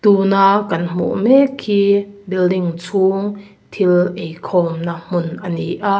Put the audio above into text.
tuna kan hmuh mek hi building chhung thil ei khawmna a ni a.